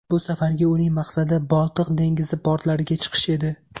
Bu safargi uning maqsadi Boltiq dengizi portlariga chiqish edi.